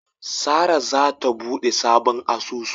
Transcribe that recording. Sara zata bude sabon asusu.